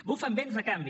bufen vents de canvi